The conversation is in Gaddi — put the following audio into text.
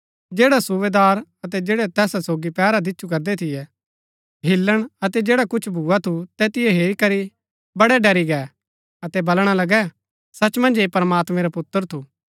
जैडा सुबेदार अतै जैड़ै तैस सोगी पैहरा दिच्छु करदै थियै हिल्‍लण अतै जैडा कुछ भुआ थू तैतिओ हेरी करी बड़ै ड़री गै अतै बलणा लगै सच मन्ज ऐह प्रमात्मैं रा पुत्र थू